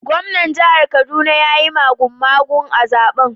Gwamnan jihar Kaduna ya yi magumagu a zaben